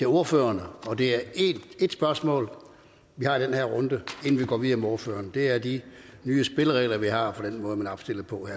ordførerne det er ét spørgsmål vi har i den her runde inden vi går videre med ordførerne det er de nye spilleregler vi har